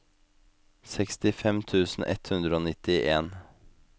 sekstifem tusen ett hundre og nittien